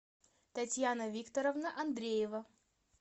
татьяна викторовна андреева